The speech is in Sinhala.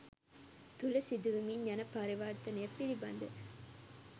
තුළ සිදුවෙමින් යන පරිවර්තනය පිළිබඳ